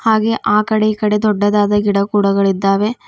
ಹಾಗೆ ಆ ಕಡೆ ಈ ಕಡೆ ದೊಡ್ಡದಾದ ಗಿಡ ಕುಡಗಳಿದ್ದಾವೆ.